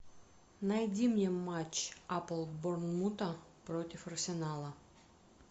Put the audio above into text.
найди мне матч апл борнмута против арсенала